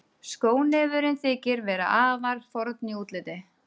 Skónefurinn þykir vera afar forn í útliti.